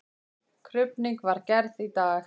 Krufning var gerð í dag.